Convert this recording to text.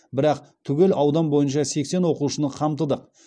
бірақ түгел аудан бойынша сексен оқушыны қамтыдық